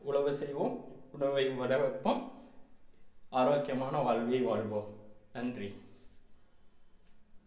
உழவு செய்வோம் உணவை வர வைப்போம் ஆரோக்கியமான வாழ்வை வாழ்வோம் நன்றி